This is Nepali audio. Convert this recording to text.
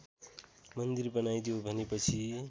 मन्दिर बनाइदेऊ भनेपछि